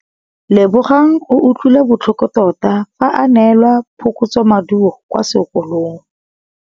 Lebogang o utlwile botlhoko tota fa a neelwa phokotsômaduô kwa sekolong.